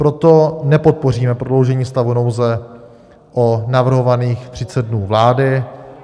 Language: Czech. Proto nepodpoříme prodloužení stavu nouze o navrhovaných 30 dnů vládou.